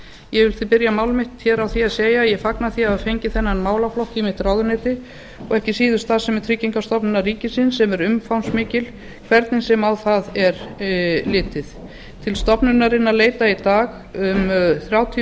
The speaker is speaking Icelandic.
ég vil því byrja mál mitt hér á því að segja að ég fagna því að hafa fengið þennan málaflokk í mitt ráðuneyti og ekki síður starfsemi tryggingastofnunar ríkisins sem er umfangsmikil hvernig sem á það mál er litið til stofnunarinnar leita í dag um þrjátíu